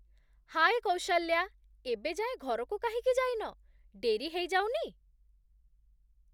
ହାଏ କୌଶଲ୍ୟା, ଏବେ ଯାଏଁ ଘରକୁ କାହିଁକି ଯାଇନ? ଡେରି ହେଇଯାଉନି ?